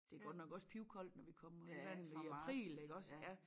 Det godt nok også pivkoldt når vi kommer i vandet i april iggås